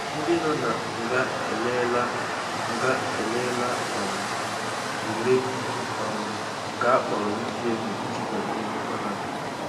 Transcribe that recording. Ndị nọ na nga eleela nga eleela um ule um nke akpọrọ UTME iji banye Mahadum.